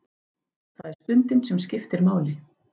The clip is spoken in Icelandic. Það er stundin sem skiptir máli.